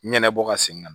Ɲɛnɛbɔ ka segin ka na